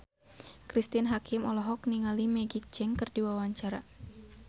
Cristine Hakim olohok ningali Maggie Cheung keur diwawancara